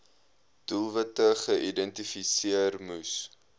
doelwitte geïdentifiseer moes